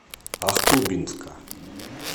ахтубинска